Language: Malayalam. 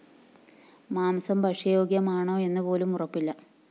മാംസം ഭക്ഷ്യയോഗ്യമാണോ എന്നു പോലും ഉറപ്പില്ല